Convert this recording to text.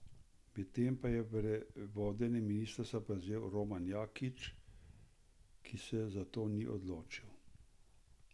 Medtem pa je vodenje ministrstva prevzel Roman Jakič, ki se za to ni odločil.